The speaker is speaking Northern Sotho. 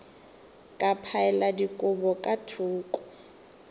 ka phaela dikobo ka thoko